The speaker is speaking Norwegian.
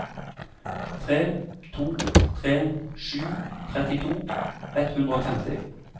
tre to tre sju trettito ett hundre og femti